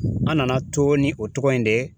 An nana to ni o tɔgɔ in de ye